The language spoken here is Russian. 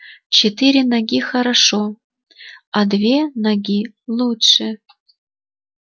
четыре ноги хорошо две ноги лучше